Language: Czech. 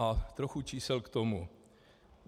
A trochu čísel k tomu.